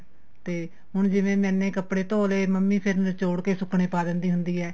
ਤੇ ਹੁਣ ਜਿਵੇਂ ਮੈਨੇ ਕਪੜੇ ਧੋ ਲੇ ਮੰਮੀ ਫੇਰ ਨਿਚੋੜ ਕੇ ਸੁਕਣੇ ਪਾ ਦਿੰਦੀ ਹੁੰਦੀ ਏ